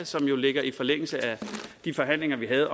som jo ligger i forlængelse af de forhandlinger vi havde